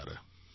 નમસ્કાર